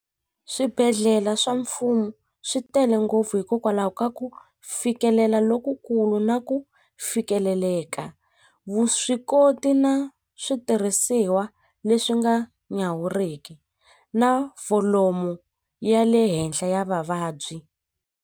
Swibedhlele swa mfumo swi tele ngopfu hikokwalaho ka ku fikelela lokukulu na ku fikeleleka vuswikoti na switirhisiwa leswi nga nyawuriki na volume ya le henhla ya vavabyi.